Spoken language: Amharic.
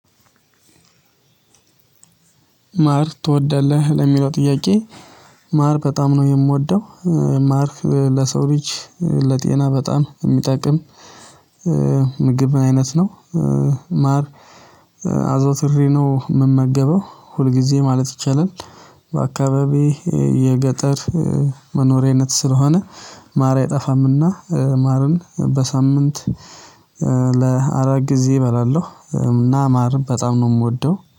ማር ትወዳለህ ለሚለው ጥያቄ? ማር በጣም ነው የምወደው። ማርክ ለሰው ልጅ ለጤና በጣም የሚጠቅም ምግብ አይነት ነው። ማር አዘውትሬ ነው የምመገበው ሁልጊዜ ማለት ይቻላል። በአካባቢዬ የገጠር መኖሪያነት ስለሆነ ማር አይጠፋምና ማርን በሳምንት ለአራት ጊዜ እበላለሁ። እና ማርን በጣም ነው የምወደው